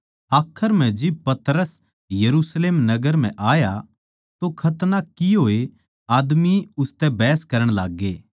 आखर म्ह जिब पतरस यरुशलेम नगर म्ह आया तो खतना किये होए आदमी उसतै बहस करण लाग्गे